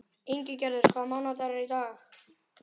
Ingigerður, hvaða mánaðardagur er í dag?